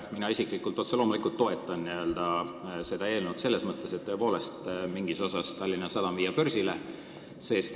Mina isiklikult otse loomulikult toetan seda eelnõu selles mõttes, et tõepoolest on hea Tallinna Sadamast mingi osa börsile viia.